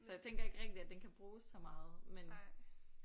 Så jeg tænker ikke rigtig at den kan bruges så meget men